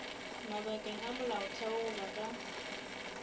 mabakeng a molaotheo goba ka